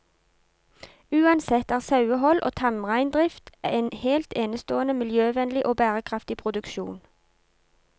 Uansett er sauehold og tamreindrift en helt enestående miljøvennlig og bærekraftig produksjon.